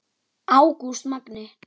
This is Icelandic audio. Ágúst Magni.